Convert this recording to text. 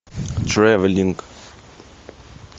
тревелинг